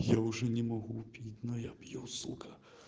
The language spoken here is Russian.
я уже не могу пить но я пью сука